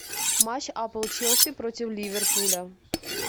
матч апл челси против ливерпуля